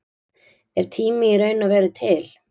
Er tími í raun og veru til?